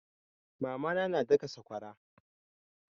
Mama na na daka sakwara.